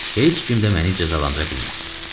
Heç kim də məni cəzalandıra bilməz.